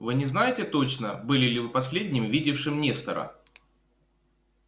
вы не знаете точно были ли вы последним видевшим нестора